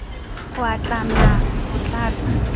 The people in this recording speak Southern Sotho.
ho a tlama ho tlatsa